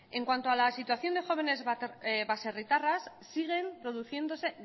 en cuanto a la situación de jóvenes baserritarras siguen produciéndose